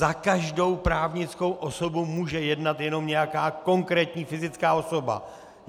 Za každou právnickou osobu může jednat jenom nějaká konkrétní fyzická osoba.